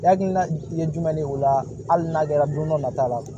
Hakilina ye jumɛn ye o la hali n'a kɛra don dɔ nata la